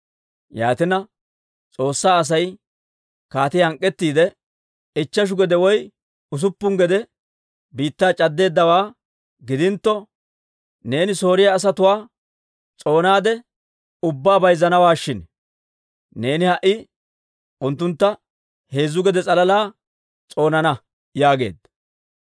Yaatina S'oossaa Asay kaatiyaa hank'k'ettiide, «Ichcheshu gede woy usuppun gede biittaa c'addeeddawaa gidintto, neeni Sooriyaa asatuwaa s'oonaade ubbaa bayzzanawaa shin! Neeni ha"i unttuntta heezzu gede s'alala s'oonana» yaageedda.